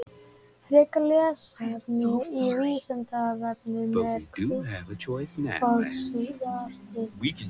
Frekara lesefni af Vísindavefnum: Eru hvítt og svart litir?